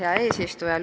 Hea eesistuja!